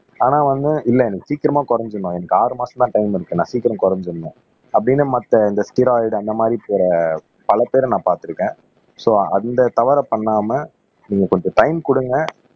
ஆனா வந்து இல்ல எனக்கு சீக்கிரமா குறைஞ்சிரும் எனக்கு ஆறு மாசம் தான் டைம் இருக்கு நான் சீக்கிரம் குறைஞ்சிடணும் அப்படின்னு மத்த இந்த ஸ்டெராய்டு அந்த மாதிரி பிற பல பேரை நான் பார்த்திருக்கேன் சோ அந்த தவறை பண்ணாம நீங்க கொஞ்சம் டைம் குடுங்க